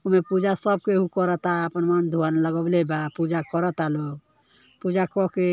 ओमे पूजा सब केहु करता। आपन मन धोवन लगाइले बा। पूजा करता लोग। पूजा कके --